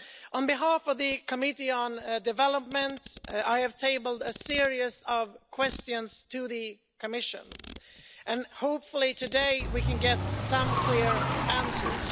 On behalf of the Committee on Development, I have tabled a series of questions to the Commission and hopefully today we can get some clear answers.